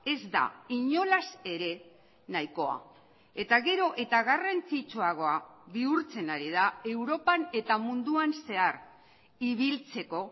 ez da inolaz ere nahikoa eta gero eta garrantzitsuagoa bihurtzen ari da europan eta munduan zehar ibiltzeko